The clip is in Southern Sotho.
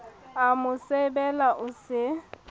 a mo sebela o se